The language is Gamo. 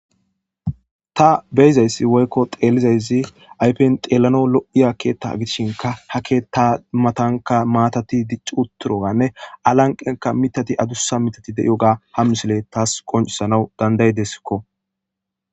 Ta be7izaysi woykko xeellizaysi ayfen xeellanaw lo7izaysi keetta ,gidishin ha keetta matanka maatati dicci uttidooganne alanqqen mittati adussa mittati de7iyoga ha misiley bessees.